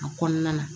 A kɔnɔna na